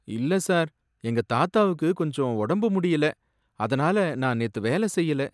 இல்ல சார், எங்க தாத்தாவுக்கு கொஞ்சம் ஒடம்பு முடியல, அதனால நான் நேத்து வேலை செய்யல.